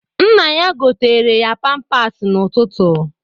Nna ya goteere ya pampasị n'ụtụtụ.